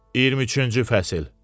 23-cü fəsil.